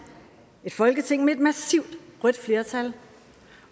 et folketing med et massivt rødt flertal